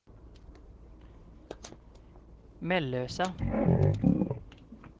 Mellösa